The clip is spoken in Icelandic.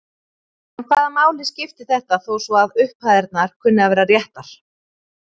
En hvaða máli skiptir þetta þó svo að upphæðirnar kunni að vera réttar?